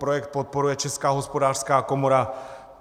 Projekt podporuje Česká hospodářská komora.